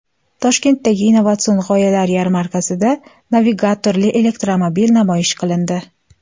Toshkentdagi innovatsion g‘oyalar yarmarkasida navigatorli elektromobil namoyish qilindi.